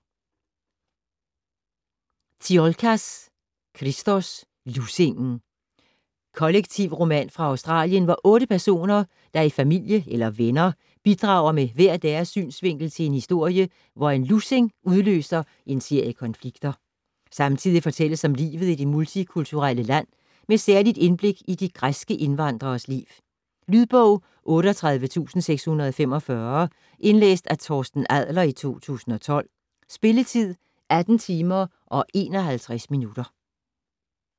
Tsiolkas, Christos: Lussingen Kollektivroman fra Australien hvor 8 personer, der er i familie eller er venner, bidrager med hver deres synsvinkel til en historie, hvor en lussing udløser en serie konflikter. Samtidig fortælles om livet i det multikulturelle land med særlig indblik i de græske indvandreres liv. Lydbog 38645 Indlæst af Torsten Adler, 2012. Spilletid: 18 timer, 51 minutter.